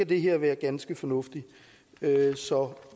det her være ganske fornuftigt så